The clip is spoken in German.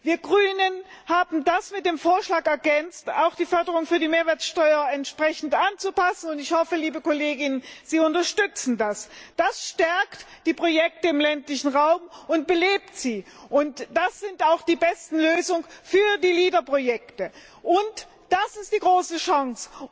Wir Grünen haben das mit dem Vorschlag ergänzt, auch die Förderung für die Mehrwertsteuer entsprechend anzupassen, und ich hoffe, liebe KollegInnen, Sie unterstützen das. Das stärkt und belebt die Projekte im ländlichen Raum. Das sind auch die besten Lösungen für die LEADER Projekte. Und das ist die große Chance,